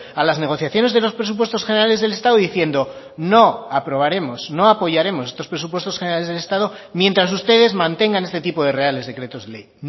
a las negociaciones de los presupuestos generales del estado diciendo no aprobaremos no apoyaremos estos presupuestos generales del estado mientras ustedes mantengan este tipo de reales decretos ley